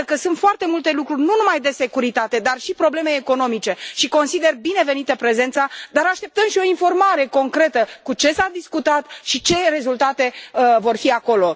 Iată că sunt foarte multe lucruri nu numai de securitate, dar și probleme economice și consider binevenită prezența, dar așteptăm și o informare concretă cu ce s a discutat și ce rezultate vor fi acolo.